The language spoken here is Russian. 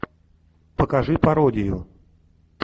покажи пародию